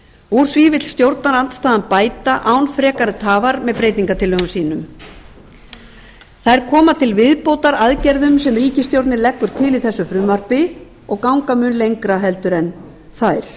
úr því vill stjórnarandstaðan bæta án frekari tafar með breytingartillögum sínum þær koma til viðbótar aðgerðum sem ríkisstjórnin leggur til í þessu frumvarpi og ganga mun lengra en þær